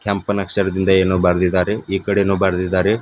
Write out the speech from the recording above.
ಕೆಂಪನ ಅಕ್ಷರದಿಂದ ಏನೋ ಬರೆದಿದ್ದಾರೆ ಈ ಕಡೆನೂ ಬರೆದಿದ್ದಾರೆ.